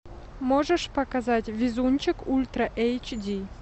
можешь показать везунчик ультра эйч ди